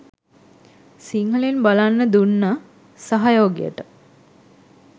සිංහලෙන් බලන්න දුන්න සහයෝගයට.